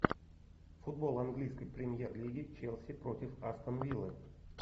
футбол английской премьер лиги челси против астон виллы